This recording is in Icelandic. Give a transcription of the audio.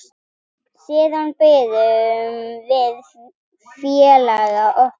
Siðan biðum við félaga okkar.